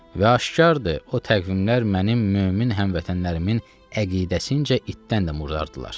Və aşkardır, o təqvimlər mənim mömin həmvətənlərimin əqidəsincə itdən də murdardırlar.